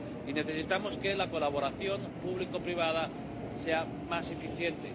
Y necesitamos que la colaboración público privada sea más eficiente.